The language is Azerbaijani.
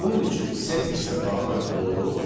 Bunun üçün settingsə daxil oluruq.